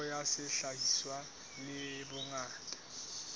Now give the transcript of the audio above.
theko ya sehlahiswa le bongata